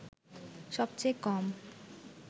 সবচেয়ে কম